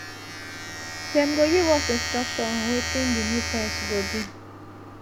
dem go give us instruction on wetin di new price go be